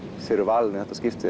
fyrir valinu þetta skipti